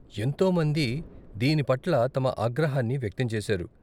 ఎంతో మంది దీని పట్ల తమ ఆగ్రహాన్ని వ్యక్తం చేసారు.